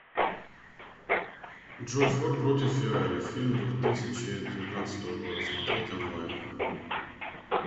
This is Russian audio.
джой форд против феррари фильм двух тысячи девятнадцатого года смотреть онлайн